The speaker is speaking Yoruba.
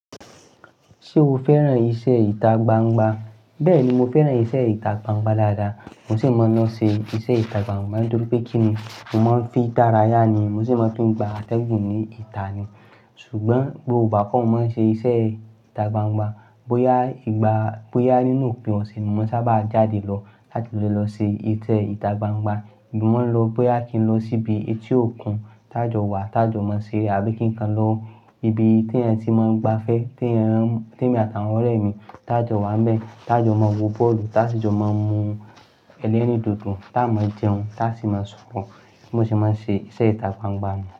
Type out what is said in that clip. Ṣé o fẹ́ràn iṣẹ́ ìta gbangba? Bẹ́ẹ̀ni, mo fẹ́ràn iṣẹ́ ìta gbangba dáadáa. Mo sì máa ń lọ ṣe iṣẹ́ ìta gbangba nítorí pé kí ni, mo máa ń fi dára yá ni. Mo sì máa ń fi gba atẹ́gùn ní ìta ni. Ṣùgbọ́n gbogbo igbá kọ́ mo máa ń ṣe iṣẹ́ ìta gbangba, bóyá ìgbà, bóyá nínú òpin ọ̀sẹ̀ ni mo sábà jáde lọ láti lè lọ ṣe iṣẹ́ ìta gbangba. Mo máa ń lọ bóyá kí n lọ síbi etí òkun tá jọ wà, tá jọ máa ṣe abi kí n kan lọ ibi tí èèyàn tí máa ń gbafẹ́, tí èèyàn tí èmi àti àwọn ọ̀rẹ́ mi tá jọ wà n bẹ́ẹ̀, tá jọ máa wo bọ́ọ̀lù, tá sì jọ máa mú Ẹlẹ́rìndòdò, tá a máa jẹun, tá a sì máa sọ̀rọ̀. Bi mo ṣe máa ń ṣe iṣẹ́ ìta gbangba nu.